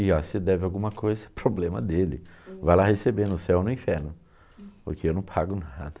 E óh, se deve alguma coisa, problema dele, vai lá receber no céu ou no inferno, porque eu não pago nada.